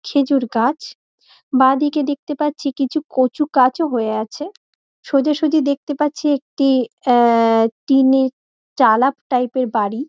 খেজুর গাছ বাঁদিকে দেখতে পাচ্ছি কিছু কচু কাছও হয়ে আছে। সোজা সুজি দেখতে পাচ্ছি একটি এ এ টিনের চালাপ টাইপ -এর বাড়ি।